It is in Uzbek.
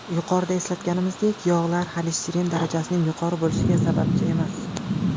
Yuqorida eslatganimizdek, yog‘lar xolesterin darajasining yuqori bo‘lishiga sababchi emas.